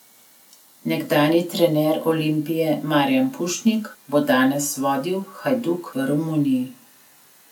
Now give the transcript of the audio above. Nekdanji trener Olimpije Marijan Pušnik bo danes vodil Hajduk v Romuniji.